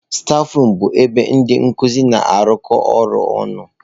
Stafurum bụ ebe ndị nkuzi na-arụkọ ọrụ ọnụ.